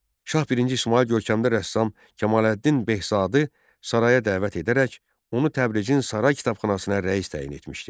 Şah birinci İsmayıl görkəmli rəssam Kamaleddin Behzadı saraya dəvət edərək, onu Təbrizin saray kitabxanasına rəis təyin etmişdi.